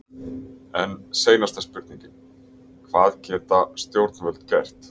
En seinasta spurningin, hvað geta stjórnvöld gert?